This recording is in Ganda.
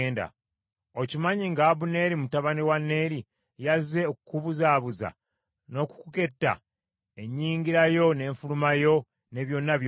Okimanyi nga Abuneeri mutabani wa Neeri, yazze okukubuzaabuza, n’okuketta ennyingira yo n’enfuluma yo, ne byonna by’okola?”